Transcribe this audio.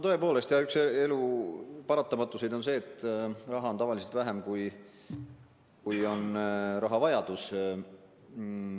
Tõepoolest, üks elu paratamatusi on see, et raha on tavaliselt vähem, kui vaja on.